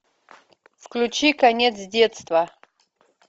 включи конец детства